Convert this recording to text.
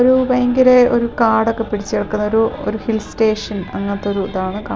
ഒരു ഭയങ്കര ഒരു കാടൊക്കെ പിടിച്ച് കിടക്കുന്ന ഒരു ഒരു ഹിൽ സ്റ്റേഷൻ അങ്ങനത്തെ ഒരു ഇതാണ് കാണു--